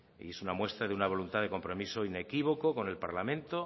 y es una muestra de una voluntad de compromiso inequívoco con el parlamento